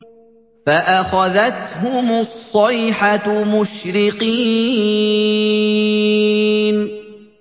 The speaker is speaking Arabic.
فَأَخَذَتْهُمُ الصَّيْحَةُ مُشْرِقِينَ